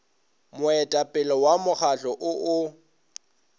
moetapele wa mokgahlo o o